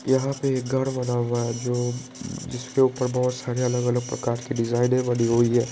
यहां पर एक घर बना हुआ है जो जिसके ऊपर बहुत सारे अलग-अलग प्रकार के डिजाइने बनी हुई है।